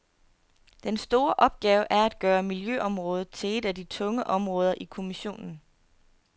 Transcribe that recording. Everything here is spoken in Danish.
Den store opgave er at gøre miljøområdet til et af de tunge områder i kommissionen.